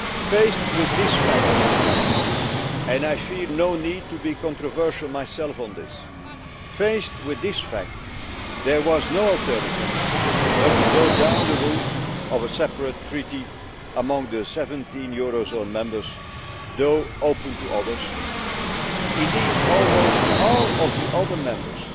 Faced with this fact and I feel no need to be controversial myself on this there was no alternative but to go down the route of a separate treaty among the 17 eurozone members, though open to others. Indeed almost all of the other members,